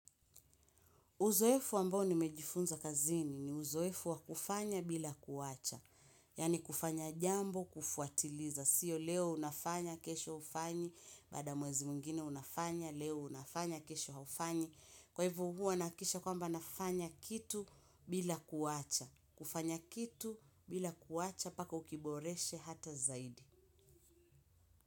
Uzoefu ambao nimejifunza kazini ni uzoefu wakufanya bila kuwacha. Yani kufanya jambo, kufuatiliza. Sio leo unafanya, kesho hufanyi, baada mwezi mwingine unafanya, leo unafanya, kesho haufanyi. Kwa ivo hua nahakikisha kwamba nafanya kitu bila kuwacha. Kufanya kitu bila kuwacha, paka ukiboreshe hata zaidi.